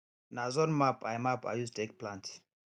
na zone map i map i use take plant